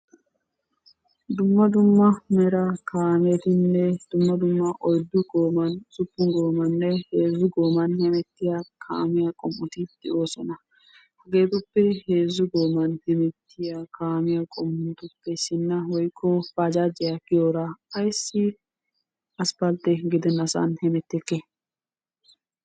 Dumma dumma mera kaametinne dumma dumma oyiddu gooman, usuppun goomaninne heezzu gooman hemettiya kaamiya qommoti de'oosona. Hageetuppe heezzu gooman hemettiya kaamiya qommoti de'oosona. Ha kaamiya qommotuppe issinna woyikko baajaajiya giyora ayissi aspaltte gidennasan hemettekkee?